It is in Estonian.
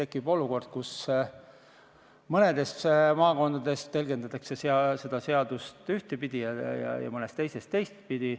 Kui vaadata ringi Eesti eri maakondades ja kui ametnikud käivad kauplusi kontrollimas, siis on seda näha.